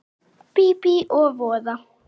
Bíbí og voða.